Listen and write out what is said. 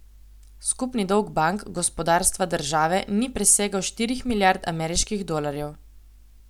Skupni dolg bank, gospodarstva, države ni presegal štirih milijard ameriških dolarjev.